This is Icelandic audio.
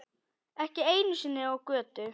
Ekki einu sinni á götu.